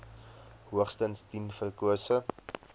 hoogstens tien verkose